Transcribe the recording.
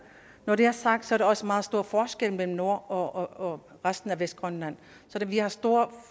når det er sagt er der også meget stor forskel mellem nord og resten af vestgrønland så vi har store